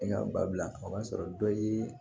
Ne ka ba bila o y'a sɔrɔ dɔ ye